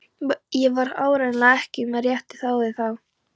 Ég var áreiðanlega ekki með réttu ráði þá.